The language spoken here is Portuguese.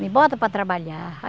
Me bota para trabalhar.